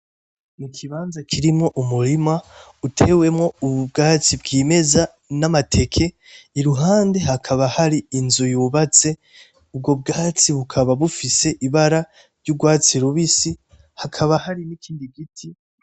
N'ikibanza kirimwo umurima utewemwo ubwatsi bwimeza n,amateke iruhande hakaba hari inzu yubatse ubwo bwatsi bukaba bufise ibara ry'urwatsi rubisi hakaba hari n'ikindi giti.